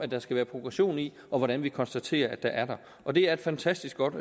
der skal være progression i og hvordan vi konstaterer der er det og det er et fantastisk godt